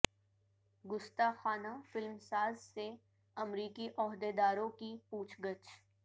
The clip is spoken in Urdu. گستاخانہ فلمساز سے امریکی عہدے داروں کی پوچھ گچھ